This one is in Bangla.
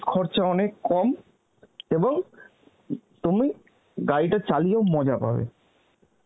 খরচা অনেক কম এবং তুমি গাড়িটা চালিয়ে ও মজা পাবে